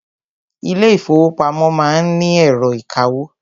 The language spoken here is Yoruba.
Ilé ìfọwọ́pamo má ń ni ẹ̀rọ ìkawó.